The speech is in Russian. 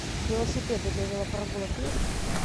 велосипеды для велопрогулок есть